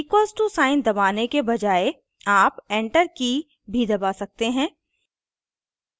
equals to sign दबाने के बजाय आप enter की भी दबा सकते हैं